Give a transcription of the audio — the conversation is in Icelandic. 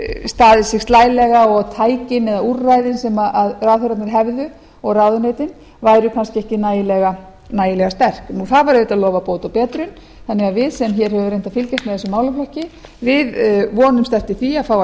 staðið sig slælega og tækin eða úrræðin sem ráðherrarnir hefðu og ráðuneytin væru kannski ekki nægilega sterk það var auðvitað lofað bót og betrun þannig að við sem höfum reynt að fylgjast með þessum málaflokki vonumst eftir því að fá að